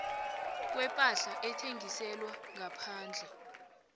kwepahla ethengiselwa ngaphandle